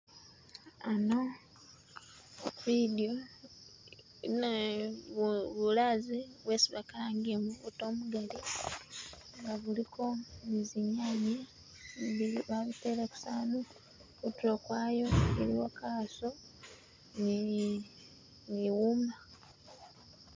Ano bidyo ina- bu-bulazi bwesi bakalangiye mubuto umugali nga buliko nizinyanye babitele ku sowani kutulo kwayo kuliko kaso ni-ni wuma